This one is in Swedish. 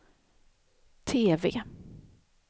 TV